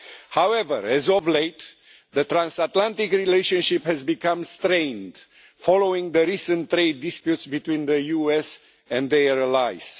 However, as of late, the transatlantic relationship has become strained following the recent trade disputes between the US and their allies.